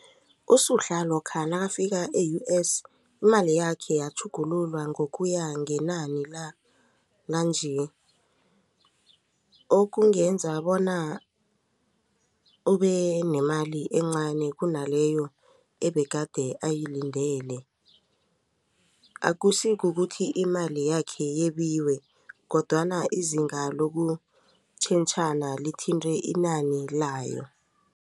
USuhla lokha nakafika e-U_S imali yakhe yatjhugululwa ngokuya ngenani lanje okungenza bona ubenemali encani kunaleyo ebegade ayilindele akusi kukuthi imali yakhe yebiwe kodwana izinga lokutjhentjhana lithinte inani layo.